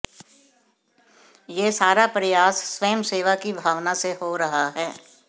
ये सारा प्रयास स्वयंसेवा की भावना से हो रहा है